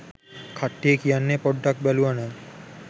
කට්ටිය කියන්නෙ පොඩ්ඩක් බැලුවනම්